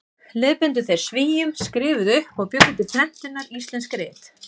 Leiðbeindu þeir Svíum, skrifuðu upp og bjuggu til prentunar íslensk rit.